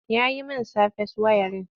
Ya yi min safes wayarin.